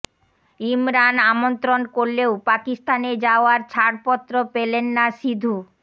ইমরান আমন্ত্রণ করলেও পাকিস্তানে যাওয়ার ছাড়পত্র পেলেন না সিধু